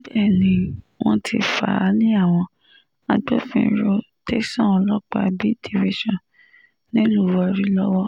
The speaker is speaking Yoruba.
níbẹ̀ ni wọ́n ti fà á lé àwọn agbófinró tẹ̀sán ọlọ́pàá b division nílùú warri lọ́wọ́